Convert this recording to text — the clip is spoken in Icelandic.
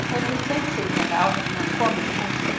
Hann heyrði tautið í henni áður en hann kom inn í húsið.